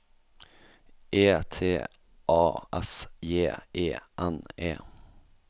E T A S J E N E